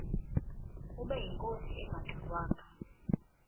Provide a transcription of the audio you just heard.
ubeyinkosi engangxe ngwanga